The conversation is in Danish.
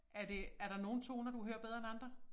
Er det er der nogle toner du hører bedre end andre?